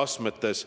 kooliastmetes.